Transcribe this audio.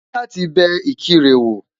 Màá fẹ́ láti bẹ Ìkirè wò